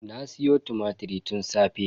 Na siyo tumatir tun safe.